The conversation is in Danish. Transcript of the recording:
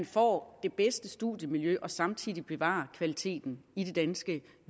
får det bedste studiemiljø og samtidig bevarer kvaliteten i det danske